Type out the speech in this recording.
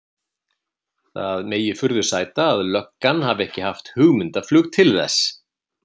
Það megi furðu sæta að löggan hafi ekki haft hugmyndaflug til þess.